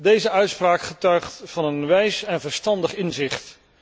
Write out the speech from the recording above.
Deze uitspraak getuigt van een wijs en verstandig inzicht.